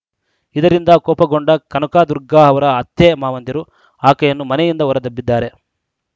ಇದರಿಂದ ಕೋಪಗೊಂಡ ಕನಕದುರ್ಗಾ ಅವರ ಅತ್ತೆಮಾವಂದಿರು ಆಕೆಯನ್ನು ಮನೆಯಿಂದ ಹೊರದಬ್ಬಿದ್ದಾರೆ